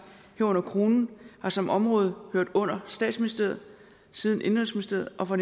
herunder kronen har som område hørt under statsministeriet siden indenrigsministeriet og fra